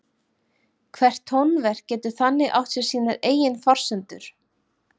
Hvert tónverk getur þannig átt sér sínar eigin forsendur.